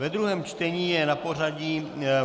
Ve druhém čtení je na pořadí